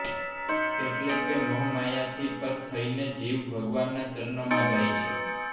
એટલે કે મોહમાયાથી પર થઈને તે જીવ ભગવાનના ચરણમાં જાય છે